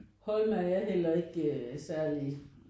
Holme er jeg heller ikke særligt